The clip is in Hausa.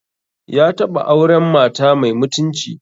Ya taɓa auren mata mai mutunci